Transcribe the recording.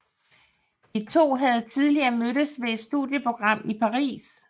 De to havde tidligere mødtes ved et studieprogram i Paris